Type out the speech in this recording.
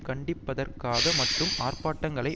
கண்டிப்பதற்காக மட்டும் ஆர்ப்பாட்டங்களை